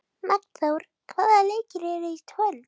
Magnþór, hvaða leikir eru í kvöld?